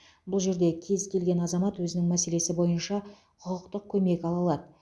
бұл жерде кез келген азамат өзінің мәселесі бойынша құқықтық көмек ала алады